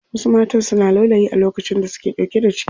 Wasu matan suna laulayi a lokacin da suke ɗauke da ciki.